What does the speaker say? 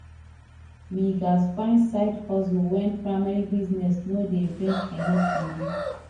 we gats find side hustle when primary business no dey bring enough money